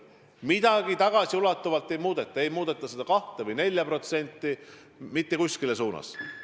Midagi tagasiulatuvalt ei muudeta, ei muudeta seda 2% ega 4% mitte mingis suunas.